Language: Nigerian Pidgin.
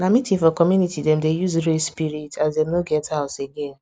na meeting for community dem dey use raise spirit as dem no get house again